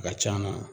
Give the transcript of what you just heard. A ka c'an na